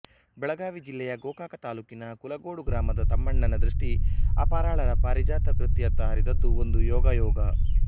ಬೆಳಗಾವಿ ಜಿಲ್ಲೆಯ ಗೋಕಾಕ ತಾಲೂಕಿನ ಕುಲಗೋಡು ಗ್ರಾಮದ ತಮ್ಮಣ್ಣನ ದೃಷ್ಟಿ ಅಪರಾಳರ ಪಾರಿಜಾತ ಕೃತಿಯತ್ತ ಹರಿದದ್ದು ಒಂದು ಯೋಗಾಯೋಗ